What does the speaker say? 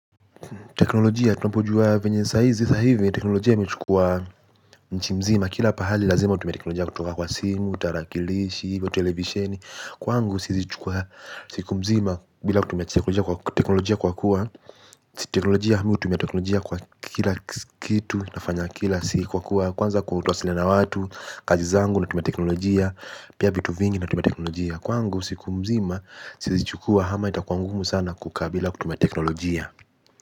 Teknolojia tunapojua venye saa hizi, sa hivi teknolojia imechukua nchi mzima, kila pahali lazima utume teknolojia kutoka kwa simu, tarakilishi, televisheni, kwangu siku mzima bila kutumia teknolojia kwa kuwa, siku mzima utumia teknolojia kwa kila kitu, nafanya kila siku mzima kwanza kuwasiliana na watu, kazi zangu na tumia teknolojia, pia vitu vingi na tumia teknolojia, kwangu siku mzima, siwezi chukua ama itakuwa ngumu sana kukaa bila kutumia teknolojia.